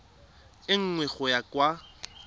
e nngwe go ya kwa